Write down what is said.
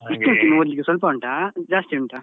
ಎಷ್ಟು ಉಂಟು ಇನ್ನು ಓದ್ಲಿಕ್ಕೆ ಇನ್ನು ಸ್ವಲ್ಪ ಉಂಟಾ ಜಾಸ್ತಿ ಉಂಟಾ.